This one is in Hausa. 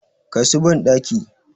Kai su bandaki!